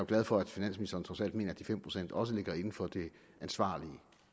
glad for at finansministeren trods alt mener at de fem procent også ligger inden for det ansvarlige